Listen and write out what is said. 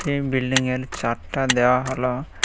এই বিল্ডিংয়ের চার্টটা দেওয়া হল।